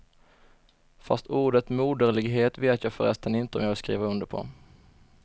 Fast ordet moderlighet vet jag förresten inte om jag vill skriva under på.